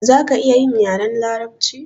Zaka iya yin yaren larabci?